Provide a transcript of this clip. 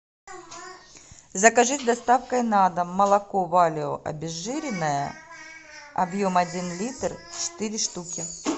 закажи с доставкой на дом молоко валио обезжиренное объем один литр четыре штуки